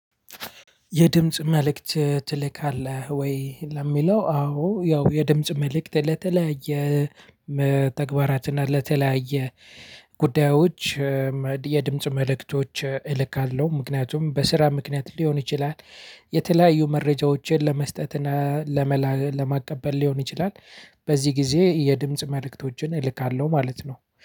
የድምጽ መልእክት ትልካለህ? ወይ ለሚለው አዎ ያው የድምጽ መልእክት ለተለያየ ተግባራት እና ለተለያየ ጉዳዩች የድምጽ መልክቶች እልካለው ምክንያቱም በስራ ምክንያት ሊሆን ይችላል። የተለያዩ መረጃዎችን ለመስጠት እና ለመላ ለማቀበል ሊሆን ይችላል። በዚህ ጊዜ የድምጽ መልእክቶችን እልካለሁ ማለት ነው